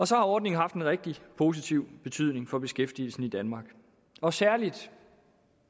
så har ordningen haft en rigtig positiv betydning for beskæftigelsen i danmark og særlig